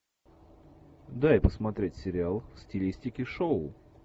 дай посмотреть сериал в стилистике шоу